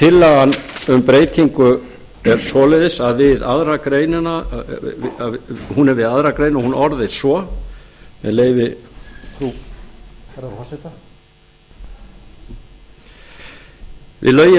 tillagan um breytingu er þannig hún er við aðra grein og hún orðist svo með leyfi hæstvirts forseta við lögin